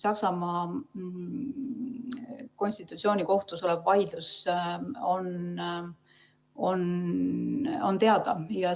Saksamaa konstitutsioonikohtus olev vaidlus on teada.